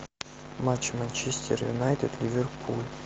матч манчестер юнайтед ливерпуль